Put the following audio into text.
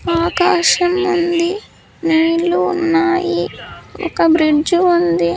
ఆకాశం ఉంది నీళ్ళు ఉన్నాయి ఒక బ్రిజ్జు ఉంది.